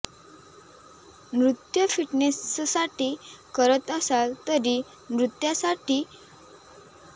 नृत्य फिटनेससाठी करत असाल तरी नृत्यासाठीसुद्धा फिटनेस महत्त्वाचा आहे